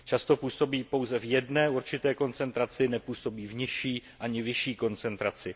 Často působí pouze v jedné určité koncentraci, nepůsobí v nižší ani vyšší koncentraci.